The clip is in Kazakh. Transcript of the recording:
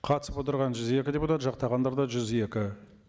қатысып отырған жүз екі депутат жақтағандар да жүз екі